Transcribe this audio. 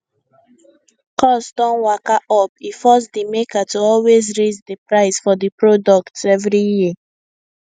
cost don waka up e force di maker to always raise di price for di products every year